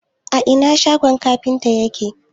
a Ina shogon kafintan yake?